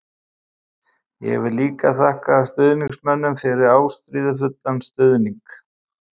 Ég vil líka þakka stuðningsmönnum fyrir ástríðufullan stuðning.